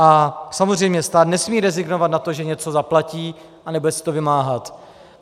A samozřejmě stát nesmí rezignovat na to, že něco zaplatí a nebude se to vymáhat.